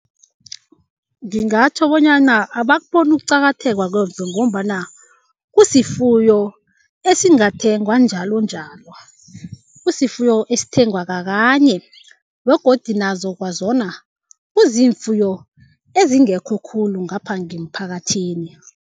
Ngingatjho bonyana abakuboni ukuqakatheka ngombana kusifuyo esingathengwa njalonjalo. Kusifuyo esithengwa kakanye begodu nazo kwazona kuziimfuyo ezingekho khulu ngapha ngemphakathini.